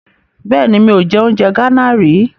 Bẹ́ẹ̀ni, mi ò jẹ oúnjẹ Gánà rí.